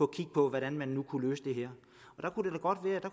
kigge på hvordan man nu kunne løse det her